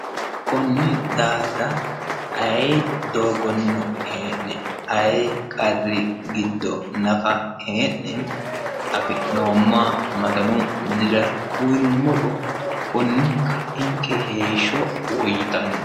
Konni daafira ayee doogonino hee'ne ayee qarri giddo nafa hee'ne afi'noommoha maganu minira uyiinumoro konni ka'inke heeshsho woyyitanno.